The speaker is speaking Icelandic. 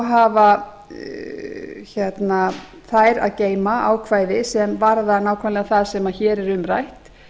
hafa þær að geyma ákvæði sem varða nákvæmlega það sem hér er um rætt